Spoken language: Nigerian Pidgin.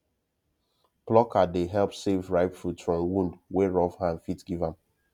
plucker dey help save ripe fruit from wound wey rough hand fit give am